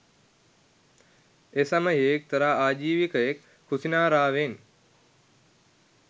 එසමයෙහි එක්තරා ආජීවකයෙක් කුසිනාරාවෙන්